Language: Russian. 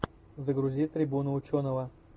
загрузи трибуну ученого